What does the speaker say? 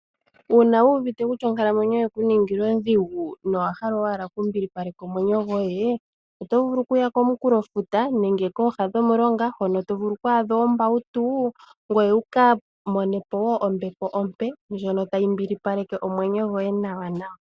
Uuna wu uvite kutya onkalamwenyo oye ku ningila ondhigu, nowa hala owala oku mbilipaleka omwenyo goye, oto vulu oku ya komunkulo futa nenge kooha dhomulonga hono to vulu oku adha oombautu, ngoye wuka mone po wo ombepo ompe ndjono tayi mbilipaleke omwenyo goye nawanawa.